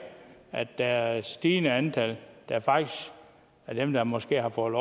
der er et stigende antal af dem der måske har fået